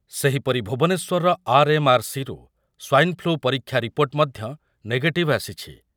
ସେହିପରି ଭୁବନେଶ୍ୱରର ଆର୍‌.ଏମ୍.ଆର୍.ସି. ରୁ ସ୍ୱାଇନ୍‌ଫ୍ଲୁ ପରୀକ୍ଷା ରିପୋର୍ଟ ମଧ୍ୟ ନେଗେଟିଭ୍ ଆସିଛି ।